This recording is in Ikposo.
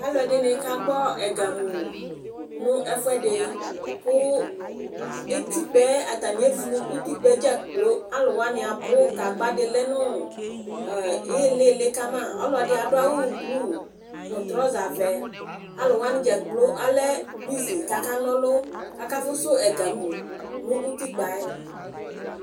alʋɛdini ka gbɔ ɛga mʋ nʋ ɛƒʋɛdi kʋ ɛti kpaɛ, atani ɛvlʋ ʋtikpaɛ dza kplɔ, alʋ wani abʋ, gagba di lɛnʋ ilili kama, ɔlɔdi adʋ awʋ blue nʋ trouser vɛ, alʋ wani dza kplɔ alɛ bʋsy kʋ aka nɔlʋ kʋ aka ƒʋsʋ ɛga mʋ nʋ ʋtikpaɛ